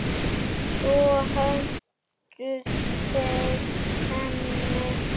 Svo hentu þeir henni.